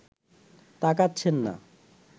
তাকাচ্ছেন না